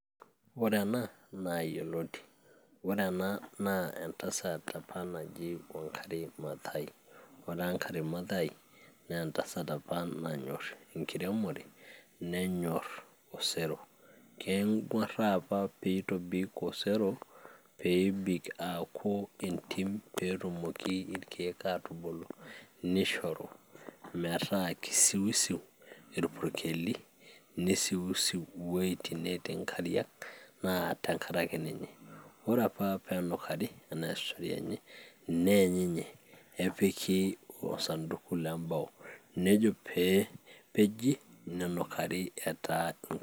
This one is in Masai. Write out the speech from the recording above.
ore ena naa yioloti ore ena naa entasat apa naji Wangari maathai ore Wangari maathai naa entasat apa nanyorr enkiremore nenyorr osero keng'uaraa piitobik osero peebik aaku entim peetumoki irkeek aatubulu nishoru metaa kisiusiu irpurkeli nisiusiu wueitin netii inkariak naa tenkareki ninye ore apa peenukari enaa story enye neeny ninye epiki osanduku lembao nejo peepeji nenukari etaa ink...